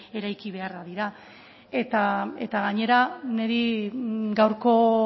eraiki beharra dira eta gainera niri gaurko